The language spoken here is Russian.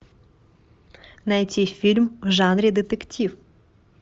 найти фильм в жанре детектив